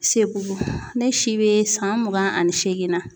Seku bo ne si be san mugan ani seegin na